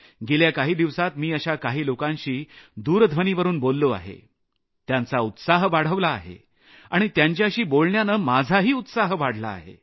गेल्या काही दिवसांत मी अशा काही लोकांशी दूरध्वनीवरून बोललो आहे त्यांचा उत्साह वाढवला आहे आणि त्यांच्याशी बोलण्यानं माझाही उत्साह वाढला आहे